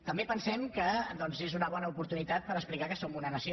també pensem que doncs és una bona oportunitat per explicar que som una nació